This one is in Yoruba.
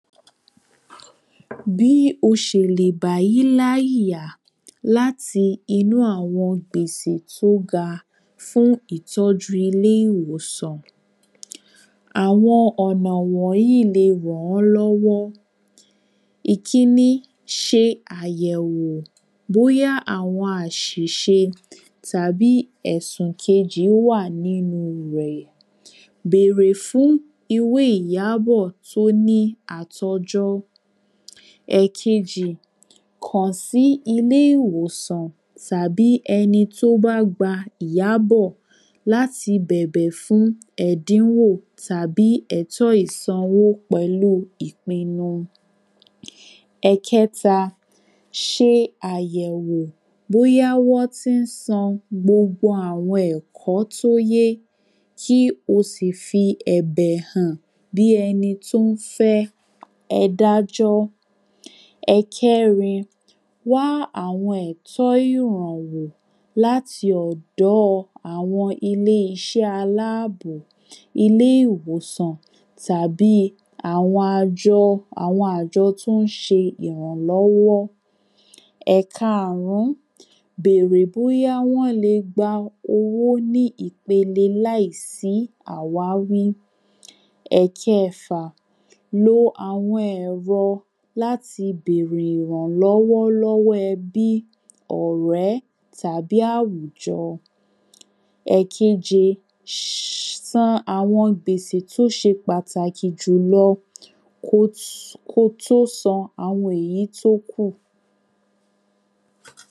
bí o ṣè lè bà yí lá ìyá láti inú àwọn gbèsè tó ga fún ìtọ́jú ilé ìwòsàn àwọn ọ̀nà wọ̀nyí le ràn ọ́ lọ́wọ́. ìkíní, ṣe àyẹ̀wò bóyá àwọn àṣìṣe tàbí ẹ̀sùn kejì wà nínú rẹ̀ bèrè fún ewé ìyábọ̀ tó ní àtọjọ́ ẹ̀kejì, kàn sí ilé ìwòsàn tàbí ẹni tó bá gba ìyábọ̀ láti bẹ̀bẹ̀ fún ẹ̀dínwò tàbí ẹ̀tọ́ ìsanwó pẹ̀lú ìpinnu. èkẹ́ta, ṣe àyẹ̀wò bóyá wọ́n tín ń san gbogbo àwọn ẹ̀kọ́ tó yé kí o sì fi ẹ̀bẹ̀ hàn bí ẹni tó ń fẹ́ ẹdájọ́. ẹ̀kẹrin, wá àwọn ẹ̀tọ́ ìrànwò láti ọ̀dọ́ àwọn ilé iṣẹ́ aláàbò, ilé ìwòsàn tàbí àwọn àjọ̀ tó ń ṣe ìrànlọ́wọ.́ ẹ̀kaàrún, bèrè bóyá wọ́n le gba owó ní ìpele láì sí àwáwí. èkẹẹ̀fà, lo àwọn ẹ̀rọ láti bèrè ìrànlọ́wọ́ lọ́wọ́ ẹbí, ọ́rẹ́ tàbí àwùjọ. ẹ̀kéje, san àwọn gbèsè tó ṣe pàtàkì jù lọ ko ko tó san àwọn èyí tó kù